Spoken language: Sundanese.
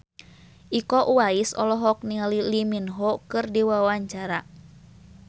Iko Uwais olohok ningali Lee Min Ho keur diwawancara